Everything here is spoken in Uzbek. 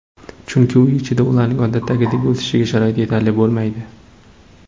Chunki uy ichida ularning odatdagidek o‘sishiga sharoit yetarli bo‘lmaydi.